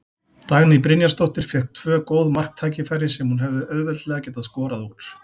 Dagný Brynjarsdóttir fékk tvö góð marktækifæri sem hún hefði auðveldlega getað skorað úr.